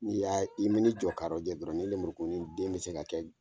N'i y'a' i mi jɔ ka rɔjɔ dɔrɔn nin lemurukuni den be se ka kɛ